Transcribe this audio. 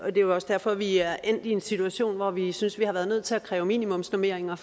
er jo også derfor at vi er endt i en situation hvor vi synes at vi har været nødt til at kræve minimumsnormeringer